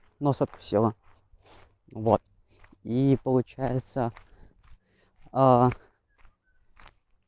насадка села вот и получается